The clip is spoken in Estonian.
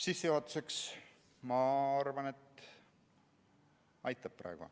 Sissejuhatuseks, ma arvan, aitab praegu.